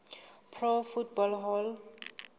pro football hall